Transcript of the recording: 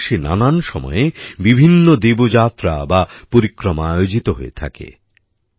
আমাদের দেশে নানান সময়ে বিভিন্ন দেবযাত্রা বা পরিক্রমা আয়োজিত হয়ে থাকে